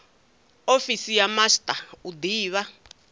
ofisi ya master u divha